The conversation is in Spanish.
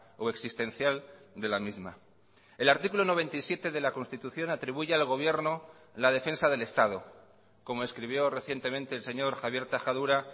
o existencial de la misma el artículo noventa y siete de la constitución atribuye al gobierno la defensa del estado como escribió recientemente el señor javier tajadura